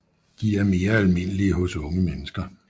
De er mere almindelige hos unge mennesker